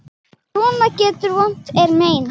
Svona vetur vont er mein.